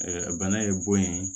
bana ye bon ye